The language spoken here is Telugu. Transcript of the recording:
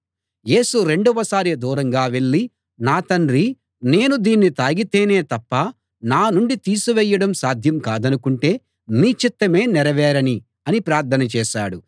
యేసు రెండవ సారి దూరంగా వెళ్ళి నా తండ్రీ నేను దీన్ని తాగితేనే తప్ప నా నుండి తీసివేయడం సాధ్యం కాదనుకుంటే నీ చిత్తమే నెరవేరనీ అని ప్రార్థన చేశాడు